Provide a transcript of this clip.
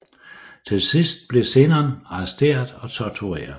Til sidst blev Zenon arresteret og tortureret